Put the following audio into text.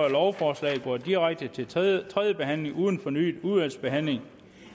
at lovforslaget går direkte til tredje tredje behandling uden fornyet udvalgsbehandling